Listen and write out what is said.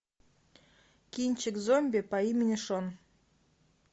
кинчик зомби по имени шон